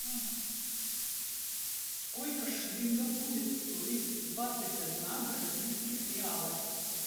сколько шиллингов будет стоить двадцать одна бразильских реалов